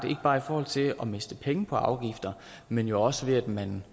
ikke bare i forhold til at miste penge på afgifter men også ved at man